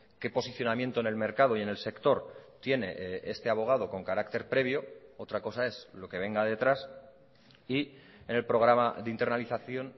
qué posicionamiento en el mercado y en el sector tiene este abogado con carácter previo otra cosa es lo que venga detrás y en el programa de internalización